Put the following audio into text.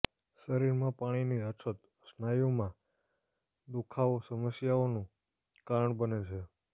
શરીરમાં પાણીની અછત સ્નાયુમાં દુખાવો સમસ્યાઓનું કારણ બને છે